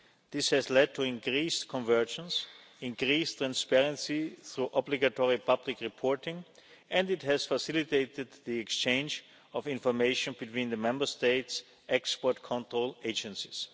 This has led to increased convergence, increased transparency through obligatory public reporting and it has facilitated the exchange of information between the Member States' export control agencies.